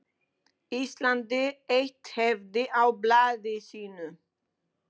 Íslandi eitt hefti af blaði sínu.